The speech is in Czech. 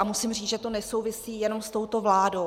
A musím říct, že to nesouvisí jenom s touto vládou.